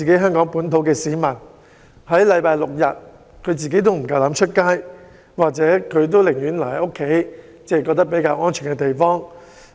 香港市民在星期六、日更是不敢外出，寧願留在家中或較安全的地方。